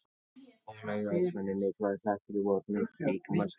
Ónæmiskerfið er þannig mikilvægur hlekkur í vörnum líkamans gegn sýklum.